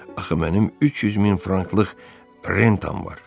axı mənim 300 min franklıq rentam var.